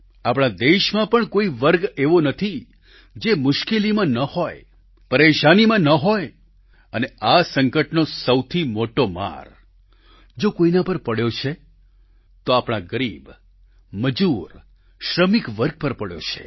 આપણા દેશમાં પણ કોઈ વર્ગ એવો નથી જે મુશ્કેલીમાં ન હોય પરેશાનીમાં ન હોય અને આ સંકટનો સૌથી મોટો માર જો કોઈના પર પડ્યો છે તો આપણા ગરીબ મજૂર શ્રમિક વર્ગ પર પડ્યો છે